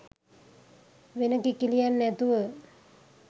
වෙන කිකිළියන් නැතුව